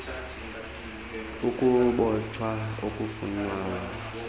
g ukubotshwa okufunwa